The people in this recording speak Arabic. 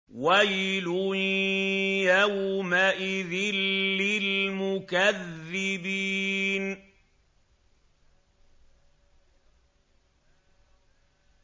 وَيْلٌ يَوْمَئِذٍ لِّلْمُكَذِّبِينَ